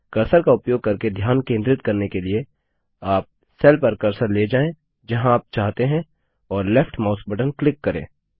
cursor का उपयोग करके ध्यान केंद्रित करने के लिए आप सेल पर कर्सर ले जाएँ जहाँ आप चाहते हैं और लेफ्ट माउस बटन क्लिक करें